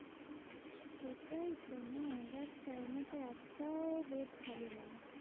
সেটাইতো না দেখ চাইনা তে একটাও bed খালি নেই।